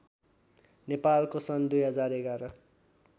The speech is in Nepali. नेपालको सन् २०११